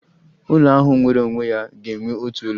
Ụlọ ahụ nwere onwe ya ga-enwe otu ụlọ